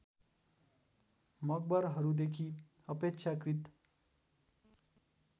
मकबरहरूदेखि अपेक्षाकृत